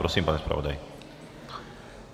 Prosím, pane zpravodaji.